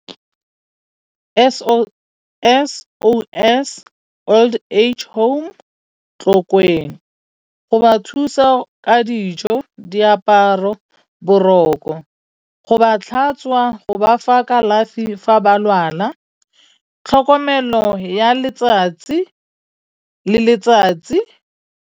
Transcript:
S_O_S Old Age Home Tlokweng. Go ba thusa ka dijo, diaparo, boroko, go ba tlhatswa, go bafa kalafi fa ba lwala, tlhokomelo ya letsatsi le letsatsi.